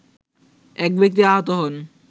এক ব্যক্তি আহত হন